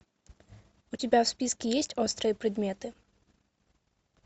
у тебя в списке есть острые предметы